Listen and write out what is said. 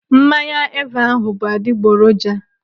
Mmanya Eva ahụ bụ adigboroja!